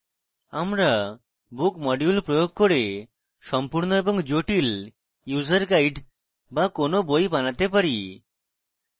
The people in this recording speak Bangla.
আমরা book module প্রয়োগ করে সম্পূর্ণ এবং জটিল user guides বা কোনো we বানাতে পারি